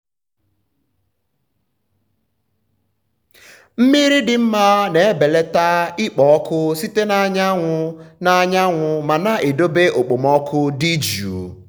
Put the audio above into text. mmiri dị mma na-ebelata ikpo ọkụ site na anyanwụ na anyanwụ ma na-edobe okpomọkụ dị jụụ.